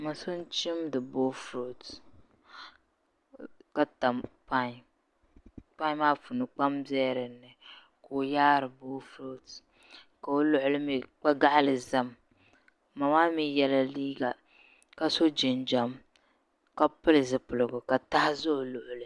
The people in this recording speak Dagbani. Ma’ so n-chimdi boofrot ka tam pan pan maa puuni kpam biɛli di ni ka o yaari boofrot ka o luɣuli mi kpa’ gaɣili zami ma maa mi yela liiga ka so jinjam ka pili zipiligu ka taha za o luɣili